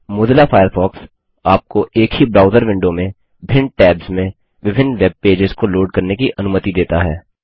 Mozilla Firefox आपको एक ही ब्राउज़र विंडो में भिन्न टैब्स में विभिन्न वेब पेजस को लोड करने की अनुमति देता है